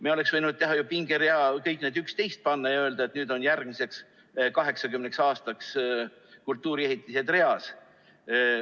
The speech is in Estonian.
Me oleks võinud teha ju pingerea, kuhu kõik need 11 panna ja öelda, et nüüd on järgmiseks 80 aastaks kultuuriehitised reas.